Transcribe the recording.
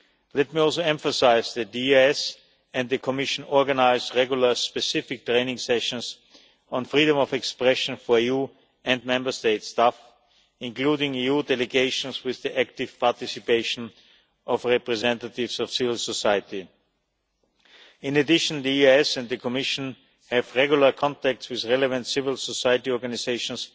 Let me also emphasise that the EEAS and the Commission organise regular specific training sessions on freedom of expression for EU and Member States' staff, including EU delegations, with the active participation of representatives of civil society. In addition the EEAS and the Commission have regular contact with relevant civil society organisations